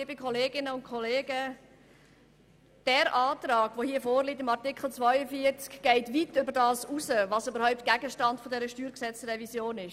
Der vorliegende Antrag zu Artikel 42 geht weit über den Gegenstand dieser StG-Revision hinaus.